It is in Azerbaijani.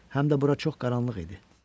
Həm də bura çox qaranlıq idi.